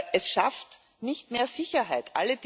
Es schafft nicht mehr Sicherheit.